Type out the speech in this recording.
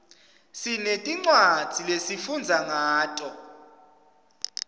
sinetincwadzi lesifundza ngato